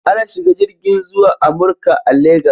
Ana shiga jirgin zuwa Amurka a Legas.